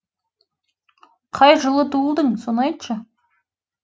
қай жылы туылдың соны айтшы